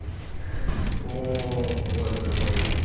о боже мой